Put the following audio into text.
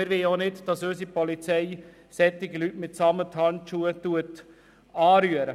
Wir wollen auch nicht, dass unsere Polizei solche Leute mit Samthandschuhen anfasst.